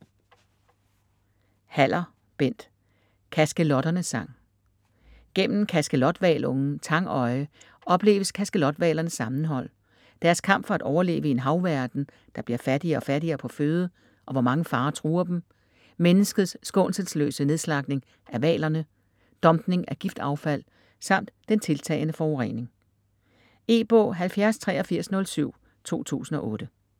Haller, Bent: Kaskelotternes sang Gennem kaskelothvalungen Tangøje opleves kaskelothvalernes sammenhold, deres kamp for at overleve i en havverden, der bliver fattigere og fattigere på føde, og hvor mange farer truer dem, menneskets skånselsløse nedslagtning af hvalerne, dumpning af giftaffald samt den tiltagende forurening. E-bog 708307 2008.